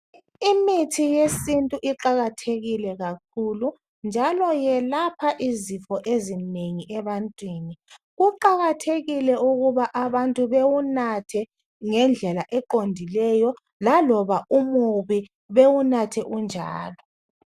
Imithi yesintu iqakathekile kakhulu njalo yelapha izifo ezinengi ebantwini. Kuqakathekile ukuba abantu bewunathe ngendlela eqondileyo laloba umubi bewunathe unjalo